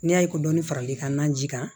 N'i y'a ye ko dɔnni faralen kan ji kan